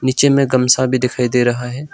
नीचे में गमछा भी दिखाई दे रहा है।